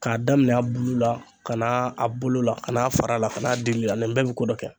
K'a daminɛ a bulu la ka n'a a bolo la ka n'a fara la ka n'a dilila ni bɛɛ bi ko dɔ kɛ